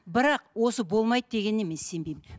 бірақ осы болмайды дегеніне мен сенбеймін